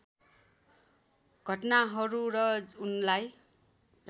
घटनाहरू र उनलाई